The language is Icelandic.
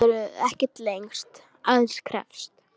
Fæturnir höfðu ekkert lengst, aðeins kreppst.